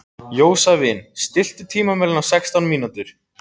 Jósavin, stilltu tímamælinn á sextán mínútur.